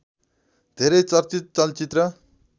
धेरै चर्चित चलचित्र